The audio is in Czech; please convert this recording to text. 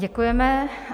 Děkujeme.